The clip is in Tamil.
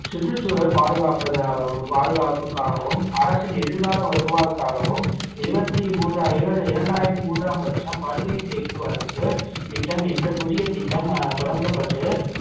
சுற்றுச்சூழல் பாதுகாப்பதாலவும் பாதுகாப்புக்காகவும் அரசின் எதிர்கால வருவாய்க்காகவும் இருபத்தி மூன்று இரு~ இரண்டாயிரத்தி மூன்றாம் வருஷம் படுகை தேக்கு வளர்ப்பு திட்டம் என்ற புதிய திட்டம் அஹ் தொடங்கப்பட்டு